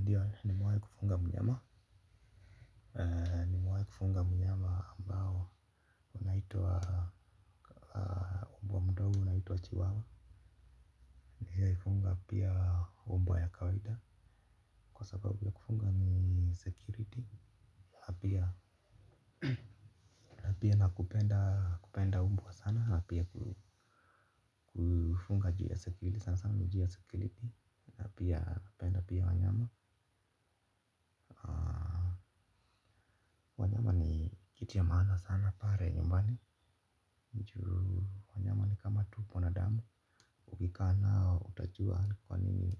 Ndiyo nimewahi kufunga mnyama. Nimewahi kufunga mnyama ambao unaitwa umbwa mdogo unaitwa chiwawa. Ndiyo kufunga pia umbwa ya kawaida. Kwa sababu ya kufunga ni security na pia. Na pia na kupenda kupenda umbwa sana na pia ku kufunga juu ya security sana sana juu ya security na pia napenda pia wanyama. Wanyama ni kitu ya maana sana pale nyumbani ju wanyama ni kama tu mwanadamu. Ukikaa nao utajua kwa nini.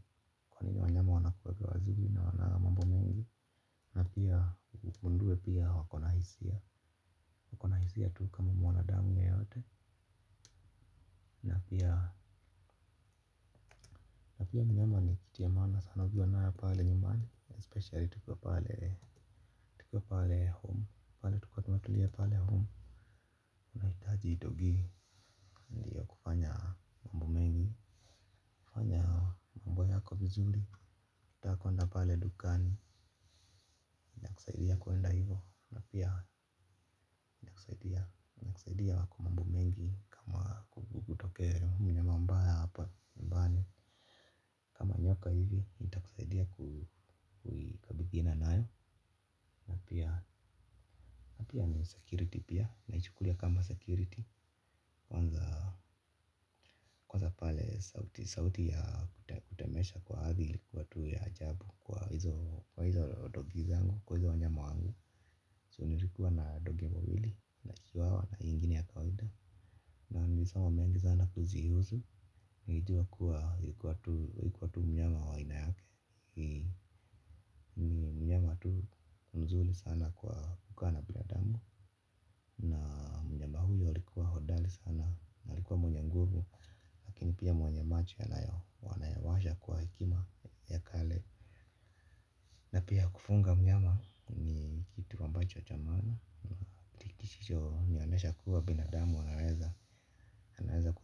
Kwa nini wanyama wanakuanga wazimu na hawana mambo mengi. Na pia ugundue pia wako na hisia. Wako na hisia tu kama mwanadamu yeyote. Na pia mnyama ni kitu ya maana sana ukiwa nayo pale nyumbani. Speciali tukiwa pale home. Pale tukiwa tumetulia pale home. Nahitaji kufanya mambo mengi. Kufanya mambo yako vizuri ukitaka kuenda pale dukani zaidi ya kuenda hivyo na pia zaidi ya wako mambo mengi. Kama nyoka hivi nitakusaidia ku kuikabidhiana nayo. Na pia ni security pia naichukulia kama security. Sauti ya kutetemesha kwa hivi ilikuwa tu ya ajabu kwa hizo dogi zangu kwa hizo wanyama wangu. Su nilikuwa na dogi wawili na chiwawa na ingini ya kawaida. Nam nilisoma mengi zana kuzihusu, nilijua kuwa ilikuwa tu mnyama wa aina yake. Mnyama tu mzuri sana kwa kukaa na binadamu na mnyama huyo alikuwa hodari sana na alikuwa mwenye nguvu, chicho nianesha kuwa binadamu wa naeza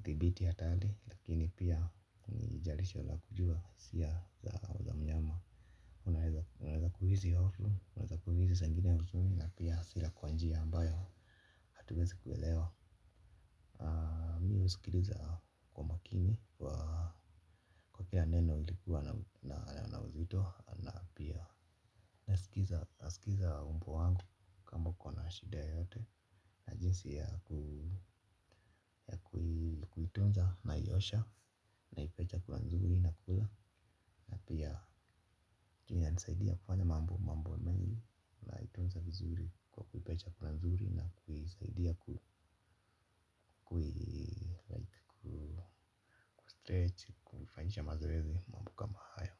Ibiti atali, lakini pia nijarisho la kujua siya za au ndi zisangine ya uzuri na pia sila kwa njia ambayo, hatuwezi kuwelewa. Ndi usikiruza makini wa kwa kila neno ilikuwa na wa uzito. Ndia na pia asikiza umbo wangu. Mwishida yoyote. Sia kunaiyosha na ipecha kula nzuri na kula. Na pia tunia nisaidia kufanya mambo mambo na ii la itunza kuzuri. Ipa chakula nzuri na kula.